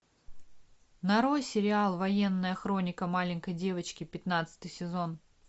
нарой сериал военная хроника маленькой девочки пятнадцатый сезон